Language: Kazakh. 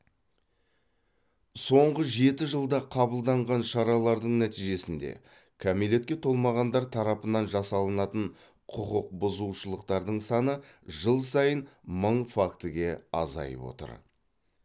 соңғы жеті жылда қабылданған шаралардың нәтижесінде кәмелетке толмағандар тарапынан жасалатын құқықбұзушылықтардың саны жыл сайын мың фактіге азайып отыр